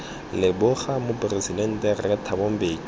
leboga moporesidente rre thabo mbeki